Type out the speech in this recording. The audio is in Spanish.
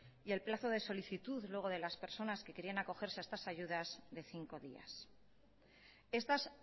y el plazo de solicitud de las personas que querían acogerse a estas ayudas de cinco días estas